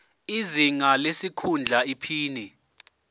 izinga lesikhundla iphini